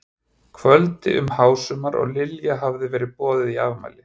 kvöldi um hásumar og Lilja hafði verið boðin í afmæli.